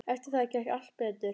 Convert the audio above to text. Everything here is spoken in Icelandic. Eftir það gekk allt betur.